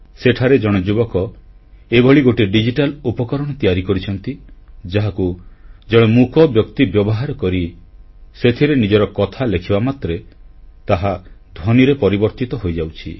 ସେଠାରେ ଜଣେ ଯୁବକ ଏଭଳି ଗୋଟିଏ ଡିଜିଟାଲ ଉପକରଣ ତିଆରି କରିଛନ୍ତି ଯାହାକୁ ଜଣେ ମୂକବ୍ୟକ୍ତି ବ୍ୟବହାର କରି ସେଥିରେ ନିଜ କଥା ଲେଖିବା ମାତ୍ରେ ତାହା ଧ୍ୱନିରେ ପରିବର୍ତ୍ତିତ ହୋଇଯାଉଛି